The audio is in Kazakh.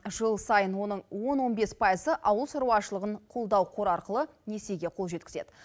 жыл сайын оның он он бес пайызы ауыл шаруашылығын қолдау қоры арқылы несиеге қол жеткізеді